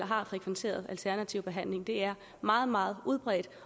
har frekventeret alternativ behandling det er meget meget udbredt